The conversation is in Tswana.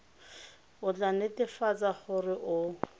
o tla netefatsa gore o